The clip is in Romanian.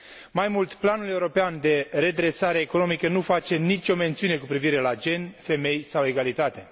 Mai mult, planul european de redresare economică nu face nicio mențiune cu privire la gen, femei sau egalitate.